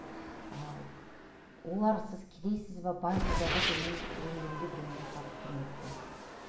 ы олар сіз кедейсіз бе байсыз ба деп мен өмірімде біреуінен сұрап көрмеппін